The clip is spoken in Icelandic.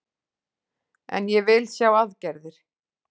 En ég vil sjá aðgerðir